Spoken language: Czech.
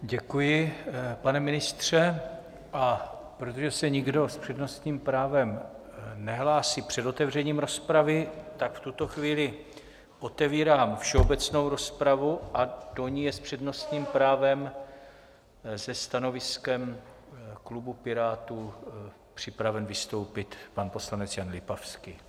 Děkuji, pane ministře, a protože se nikdo s přednostním právem nehlásí před otevřením rozpravy, tak v tuto chvíli otevírám všeobecnou rozpravu a do ní je s přednostním právem se stanoviskem klubu Pirátů připraven vystoupit pan poslanec Jan Lipavský.